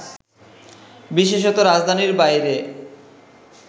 বিশেষত, রাজধানীর বাইরে